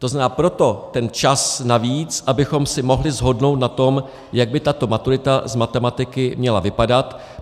To znamená, proto ten čas navíc, abychom se mohli shodnout na tom, jak by tato maturita z matematiky měla vypadat.